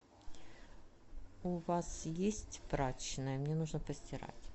у вас есть прачечная мне нужно постирать